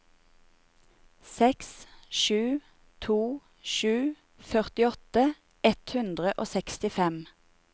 seks sju to sju førtiåtte ett hundre og sekstifem